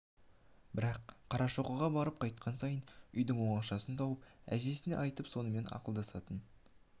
бірақ қарашоқыға барып қайтқан сайын үйдің оңашасын тауып әжесіне айтып сонымен ақылдасатын